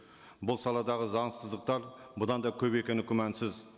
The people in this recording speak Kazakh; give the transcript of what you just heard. бұл саладағы заңсыздықтар бұдан да көп екені күмәнсіз